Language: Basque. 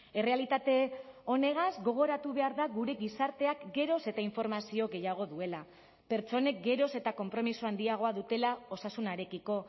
errealitate honegaz gogoratu behar da gure gizarteak geroz eta informazio gehiago duela pertsonek geroz eta konpromiso handiagoa dutela osasunarekiko